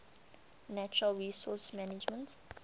natural resource management